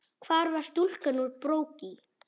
Hvar var stúlkan úr Brokey?